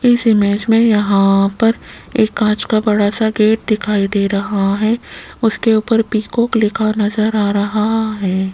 इस ईमेज में यहां पर एक कांच का बड़ा सा गेट दिखाई दे रहा है उसके ऊपर पीकॉक लिखा नजर आ रहा है।